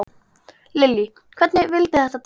Lillý: Hvernig vildi þetta til?